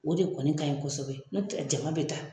O de kɔni kaɲi kosɛbɛ n'o tɛ jama be taa